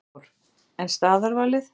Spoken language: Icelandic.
Hafþór: En staðarvalið?